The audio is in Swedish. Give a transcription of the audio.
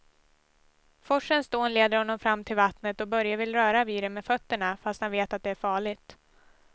Forsens dån leder honom fram till vattnet och Börje vill röra vid det med fötterna, fast han vet att det är farligt.